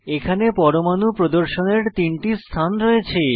এখানে পরমাণু প্রদর্শনের 3 টি স্থান রয়েছে